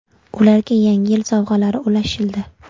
Ularga yangi yil sovg‘alari ulashildi.